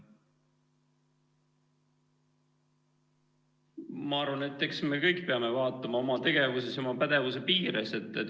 Ma arvan, et eks me kõik peame vaatama oma tegevust oma pädevuse piires.